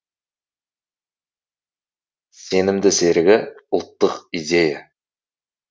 сенімді серігі ұлттық идея